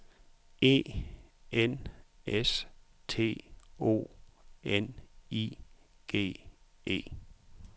E N S T O N I G E